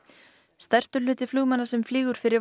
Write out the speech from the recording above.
stærstur hluti flugmanna sem flýgur fyrir